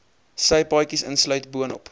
sypaadjies insluit boonop